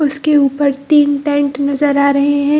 उसके ऊपर तीन टेंट नज़र आ रहें हैं।